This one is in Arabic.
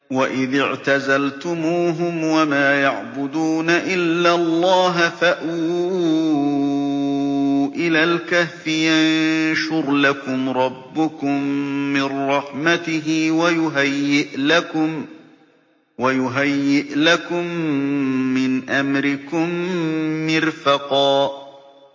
وَإِذِ اعْتَزَلْتُمُوهُمْ وَمَا يَعْبُدُونَ إِلَّا اللَّهَ فَأْوُوا إِلَى الْكَهْفِ يَنشُرْ لَكُمْ رَبُّكُم مِّن رَّحْمَتِهِ وَيُهَيِّئْ لَكُم مِّنْ أَمْرِكُم مِّرْفَقًا